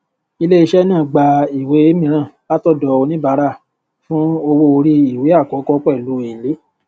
iléiṣẹ náà gba ìwé mìíràn látọdọ oníbàárà fún owó orí ìwé àkọkọ pẹlú èlé